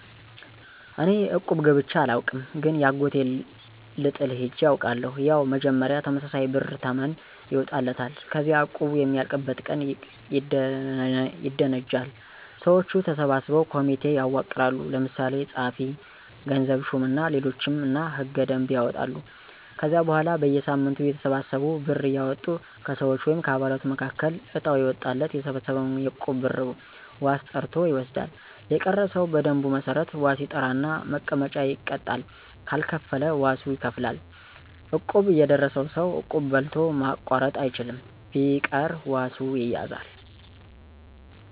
እኔ እቁብ ገብቸ አላውቅም ግን የአጎቴን ልጥል ሄጀ አውቃለሁ። ያው መጀመሪያ ተመሳሳይ ብር ተመን ይወጣለታል። ከዚያ እቁቡ የሚያልቅበት ቀን ይደነጃል። ሰወቹ ተሰብስበው ኮሚቴ ያዋቅራሉ። ለምሳሌ ጸሀፊ፣ ገንዘብ ሹም እና ሌሎችም እና ሕገ - ደንብ ያወጣሉ። ከዚያ በኋላ በየሳምንቱ እያተሰበሰቡ ብር እያወጡ ከሰወች(ከአባላቱ)መካከል እጣው የወጣለት የተሰበሰበውን የእቁብ ብር ዋስ ጠርቶ ይወስዳል። የቀረ ሰው በደንቡ መሠረት ዋስ ይጠራና መቀጫ ይቀጣል ካልከፈለ ዋሱ ይከፍላል። እቁብ የደረሰው ሰው እቁብ በልቶ ማቋረጥ አይችልም። ቢቀር ዋሱ ይያዛል።